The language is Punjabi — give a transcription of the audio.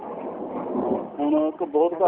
ਹਾਂ ਹੁਣ ਬ ਹੁਟ